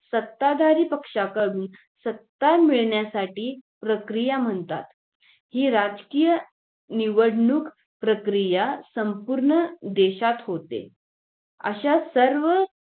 सत्ताधारी पक्षाकडून सत्ता मिळण्यासाठी प्रक्रिया म्हणता हि राजकीय निवडणूक प्रक्रिया संपूर्ण देशात होते अशा सर्व